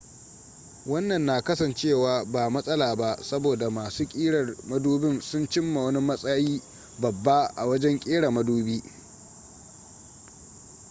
wannan na kasancewa ba matsala ba saboda masu ƙirar madubin sun cimma wani matsayi babba a wajen ƙera madubi